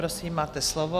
Prosím, máte slovo.